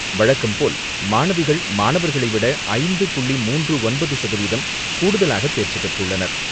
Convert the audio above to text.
வழக்கம்போல் மாணவிகள், மாணவர்களைவிட ஐந்து புள்ளி மூன்று ஒன்பது சதவீதம் கூடுதலாக தேர்ச்சி பெற்றுள்ளனர்.